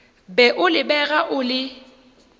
be o lebega o le